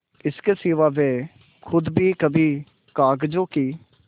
इसके सिवा वे खुद भी कभी कागजों की